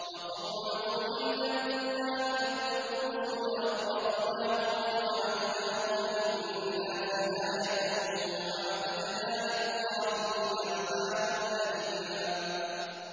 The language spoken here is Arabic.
وَقَوْمَ نُوحٍ لَّمَّا كَذَّبُوا الرُّسُلَ أَغْرَقْنَاهُمْ وَجَعَلْنَاهُمْ لِلنَّاسِ آيَةً ۖ وَأَعْتَدْنَا لِلظَّالِمِينَ عَذَابًا أَلِيمًا